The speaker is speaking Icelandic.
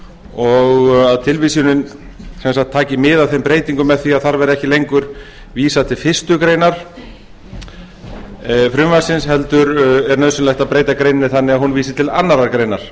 og að tilvísunin sem sagt taki mið af þeim breytingum með því að þar verði ekki lengur vísað til fyrstu grein frumvarpsins heldur er nauðsynlegt að breyta greininni þannig að hún vísi til annarrar greinar